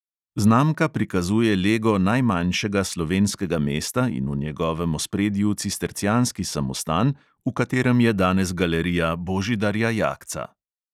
Znamka prikazuje lego najmanjšega slovenskega mesta in v njegovem ospredju cistercijanski samostan, v katerem je danes galerija božidarja jakca.